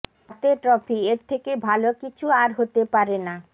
হাতে টফ্রি এর থেকে ভাল কিছু আর হতে পারে না